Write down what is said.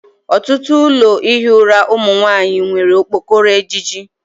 Ọtụtụ ụlọ ihi ụra ụmụ nwanyị nwere okpokoro ejiji